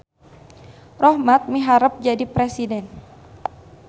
Rohmat miharep jadi presiden